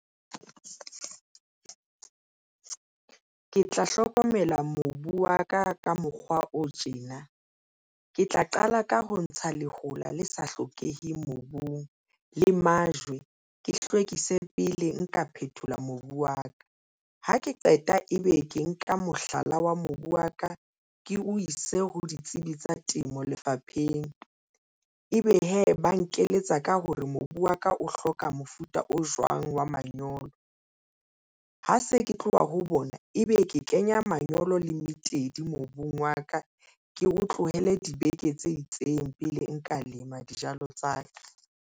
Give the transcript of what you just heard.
Ke tla hlokomela mobu wa ka, ka mokgwa o tjena ke tla qala ka ho ntsha lehola le sa hlokeheng mobung le majwe, ke hlwekise pele nka phethola mobu wa ka, ha ke qeta ebe ke nka mohlala wa mobu wa ka ke o ise ho ditsebi tsa temo lefapheng ebe hee ba nkeletsa ka hore mobu wa ka o hloka mofuta o jwang wa manyolo ha se ke tloha ho bona, ebe ke kenya manyolo le moetedi mobung wa ka. Ke o tlohele dibeke tse itseng pele nka lema dijalo tsa ka.